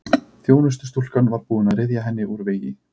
Þjónustustúlkan var búin að ryðja henni úr vegi.